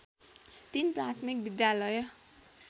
३ प्राथमिक विद्यालय